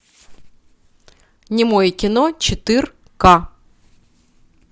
немое кино четыре ка